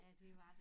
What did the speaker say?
Ja dét var det